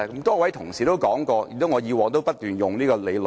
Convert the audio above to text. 多位同事也說過，我以往也不斷套用這理論。